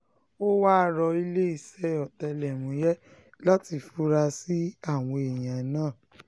ó wáá rọ iléeṣẹ́ ọ̀tẹlẹ̀múyẹ́ láti fura sí àwọn èèyàn náà